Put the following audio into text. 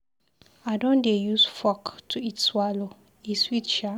I don dey use fork to eat swallow, e sweet Sha.